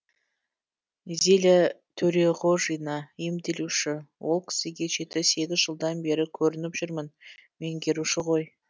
зиля төреғожина емделуші ол кісіге жеті сегіз жылдан бері көрініп жүрмін меңгеруші ғой